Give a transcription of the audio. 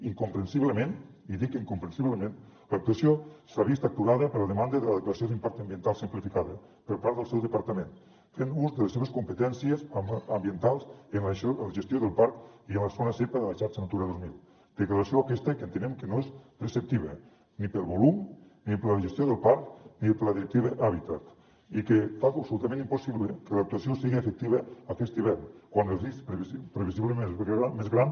incomprensiblement i dic incomprensiblement l’actuació s’ha vist aturada per la demanda de la declaració d’impacte ambiental simplificada per part del seu departament fent ús de les seves competències ambientals en la gestió del parc i en la zona zepa de la xarxa natura dos mil declaració aquesta que entenem que no és preceptiva ni pel volum ni per la gestió del parc ni per la directiva hàbitat i que fa absolutament impossible que l’actuació sigui efectiva aquest hivern quan el risc previsiblement és més gran